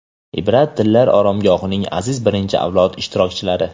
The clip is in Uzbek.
"Ibrat tillar oromgohi"ning aziz birinchi avlod ishtirokchilari!.